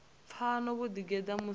pfa vho ḓigeḓa musi vho